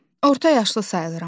Orta yaşlı sayılıram.